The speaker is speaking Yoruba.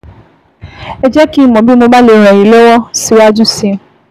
Ẹ jẹ́ kí n mọ̀ bí mo bá lè ràn yín lọ́wọ́ síwájú sí i